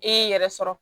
E y'i yɛrɛ sɔrɔ